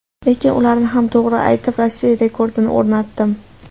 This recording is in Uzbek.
Lekin ularni ham to‘g‘ri aytib, Rossiya rekordini o‘rnatdim.